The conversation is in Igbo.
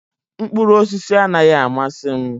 Mkpụrụ osisi anaghị amasị m